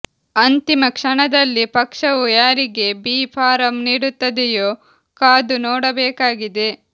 ಅಂತಿಮ ಕ್ಷಣದಲ್ಲಿ ಪಕ್ಷವು ಯಾರಿಗೆ ಬಿ ಫಾರಂ ನೀಡುತ್ತದೆಯೋ ಕಾದು ನೋಡಬೇಕಾಗಿದೆ